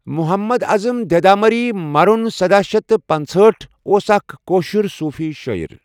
مُحَمَّد اَعٔظم دیٖداماريی مَرُن سداہ شیتھ پنژہاٹھ اۆس اَكھ کٔشِیري صُوفيٖ شٲعِر